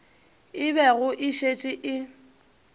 e bego e šetše e